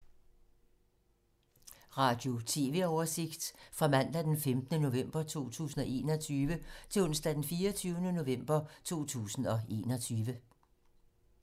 Radio/TV oversigt fra mandag d. 15. november 2021 til onsdag d. 24. november 2021